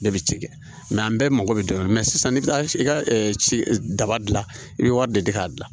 Ne bɛ ci kɛ an bɛɛ mago bɛ dɔ la sisan n'i bɛ taa i ka ci daba dilan i bɛ wari de di k'a dilan